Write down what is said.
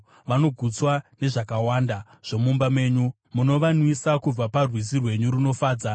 Vanogutswa nezvakawanda zvomumba menyu; munovanwisa kubva parwizi rwenyu runofadza.